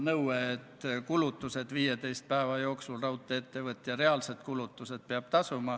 Kui te juba küsisite, siis ma loomulikult ka vastan ja räägin selle osapooltest.